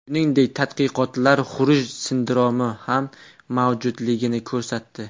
Shuningdek, tadqiqotlar xuruj sindromi ham mavjudligini ko‘rsatdi.